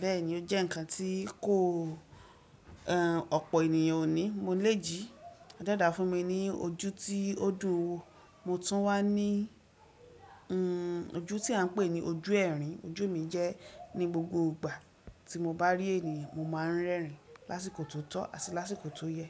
Bẹ́ẹ̀ni ó jẹ́ ǹkan tí kò e ọ̀pọ̀ ènìyàn ò ní. Mo lè jí adẹ́ẹ́dà fún mi ní ojú tí ó dùn ún wò. Mo tún wà ní uhn ojú tí à ń pè ní ojú ẹ̀rín. Ojú mi jẹ́ ní gbogbo ìgbà tí mo bá rí èèyàn, mo máa ń rẹ́rìn lásìkò tó tọ́ àti lásìkò tó yẹ.